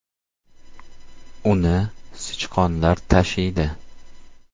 Uni sichqonlar tashiydi.